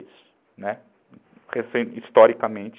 e dois, recente, historicamente